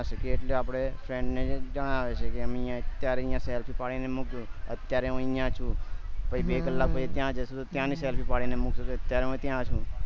એટલે આપે friends ને જણાવી છીએ કે અમે અત્યારે આ selfish પાડી ને મોકલું અત્યારે હું અહિયાં પછી બે કલાક પછી ત્યાં જશે તો ત્યાં જઈએ ન selfish પાડી ને મોકલું અત્યાર હું ત્યાં છુ